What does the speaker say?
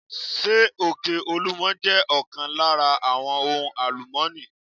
Ṣé òkè olúmo jẹ́ ọ̀kan lára àwọn ohun àlùmọ́ni?